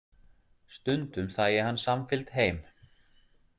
Stundum þægi hann samfylgd heim.